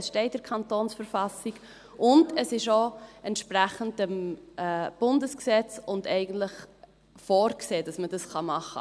Es steht in der KV, und es ist auch entsprechend im Bundesgesetz vorgesehen, dass man das machen kann.